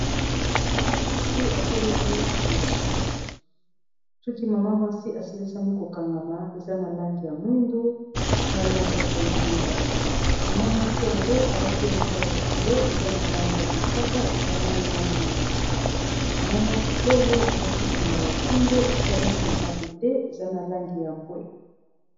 Mama mwasi, asalisaki ko kangasa soki. Suki mama mwasi asilisami ko kangama, eza na langi ya mwindu, na langi ya bozinga. Mama mwasi yango, alati elamba ya likolo eza na langi ya mosaka, esangani na mwindu. Mama mwasi oyo, alati singa ya kingo, esalemi na mabende. Eza na langi ya mbwe.